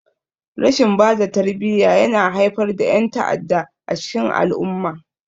Rashin bada tarbiyya yana haifar da yan'ta'adda a cikin al-umma.